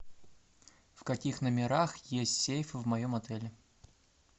в каких номерах есть сейф в моем отеле